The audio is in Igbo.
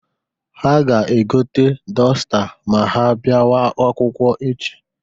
Ha ga-egote dọsta ma ha biawa akwụkwọ echi.